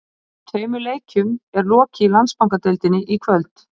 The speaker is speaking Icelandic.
Tveimur leikjum er lokið í Landsbankadeildinni í kvöld.